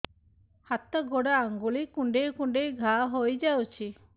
ହାତ ଗୋଡ଼ ଆଂଗୁଳି କୁଂଡେଇ କୁଂଡେଇ ଘାଆ ହୋଇଯାଉଛି